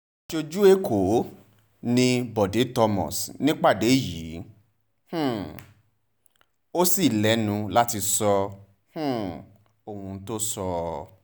aṣojú ẹ̀kọ́ ni bọ́de thomas nípàdé yìí um ò sì lẹ́nu láti sọ um ohun tó sọ